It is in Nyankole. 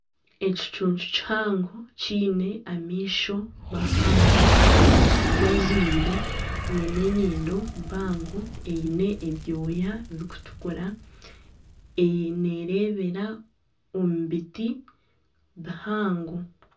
Ekicuncu kihango kiine amaisho mahango gazoire nana enyindo mpango eine ebyooya birikutukura nerebera omu biti bihango